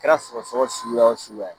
Kɛra sɔgɔ sɔgɔ suguya wo suguya ye